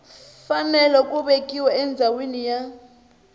fanele ku vekiwa endhawini ya